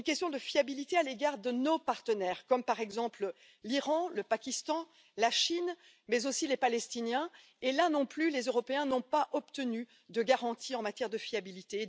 De même, à l'égard de nos partenaires, comme par exemple l'Iran, le Pakistan, la Chine, mais aussi les Palestiniens là non plus, les Européens n'ont pas obtenu de garantie en matière de fiabilité.